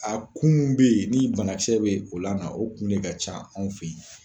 A kunw be ye ni banakisɛ be o la na o kun de ka ca anw fe yen